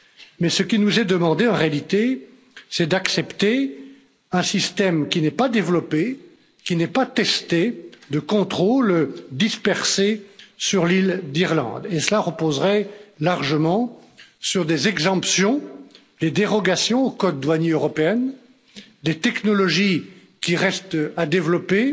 Mais ce qui nous est demandé, en réalité, c'est d'accepter un système qui n'est pas développé, qui n'est pas testé, de contrôles dispersés sur l'île d'Irlande et cela reposerait largement sur des exemptions, des dérogations au code douanier européen, des technologies qui restent à développer,